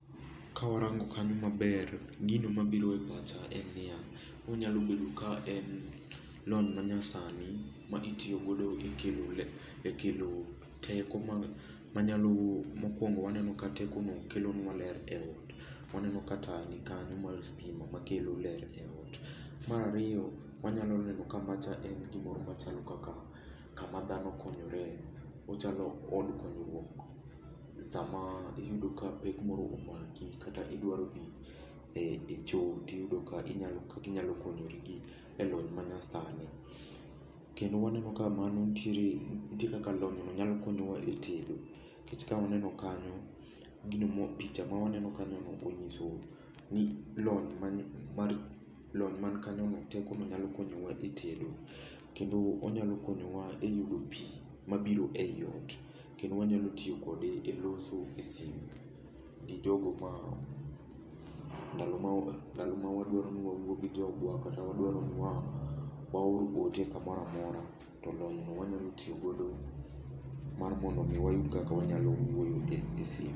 Ka warango kanyo maber, gino mabiro e pacha en ni ya, onyalo bedo ka en lony manyasani ma itiyo godo e kelo, e kelo teko manyalo, mokuongo waneno ka teko no kelo nwa ler e ot. Waneno ka taya nikanyo mar stima ma kelo ler e ot. Mar ariyo, wanyalo neno ka macha en gimoro machalo kaka kama dhano konyore. Ochalo od knyruok, sama iyudo ka pek moro omaki kata idwaro dhi e cho, tiyudo ka inyalo konyori gi e lony manyasani. Kendo waneno ka mano, nitiere nitie kaka lony no nyalo konyo wa e tedo. Nikech ka waneno kanyo, gino ma picha ma waneno kanyo no onyiso ni lony mar, lony man kanyo no, teko no nyalo konyo wa e tedo. Kendo onyalo konyo wa e yudo pi mabiro ei ot. Kendo wanyalo tiyo kode e loso e sim gi jogo ma, ndalo ma, ndalo ma wadwaro ni wawuo gi jogo, kata wadwaro ni waor ote kamoro amora to lony no wanyalo tiyo godo mar mondo mi wayud kaka wanyalo wuoyo e sim.